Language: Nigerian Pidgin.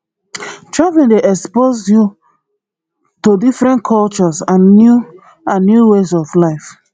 traveling dey expose you to different cultures and new and new ways of life